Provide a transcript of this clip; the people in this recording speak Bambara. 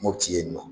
Mopti yen nɔ